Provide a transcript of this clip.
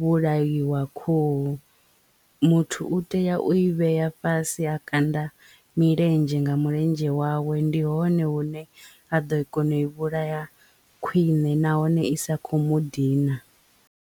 vhulaiwa khuhu muthu u tea u i vhe ya fhasi a kanda milenzhe nga mulenzhe wawe ndi hone hune a ḓo kona u i vhulaya khwiṋe nahone i sa kho mu dina.